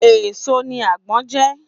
Èèso ni àgbon je